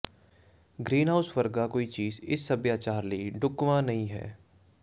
greenhouse ਵਰਗਾ ਕੋਈ ਚੀਜ਼ ਇਸ ਸਭਿਆਚਾਰ ਲਈ ਢੁਕਵਾਂ ਨਹੀਂ ਹੈ